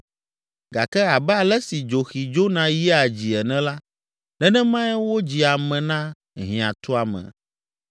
Gake abe ale si dzoxi dzona yia dzii ene la, nenemae wodzi ame na hiãtuame.